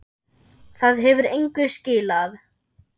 Það hefur engu skilað.